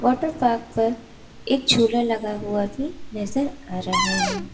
Water park पर एक झूला लगा हुआ भी नजर आ रहा है।